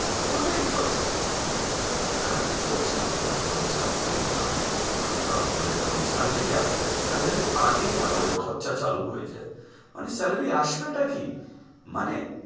ওটাই তো আছে এত্তো চাপ এত্তো চাপ বোলো না আর তারপরে যখন salary আসে salary র আগেই আমাদের খরচা চালু হয়ে যায় মানে salary আসবেটা কি মানে,